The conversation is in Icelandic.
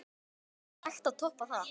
Er hægt að toppa það?